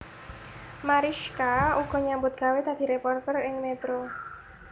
Marischka uga nyambut gawé dadi réporter ing Metro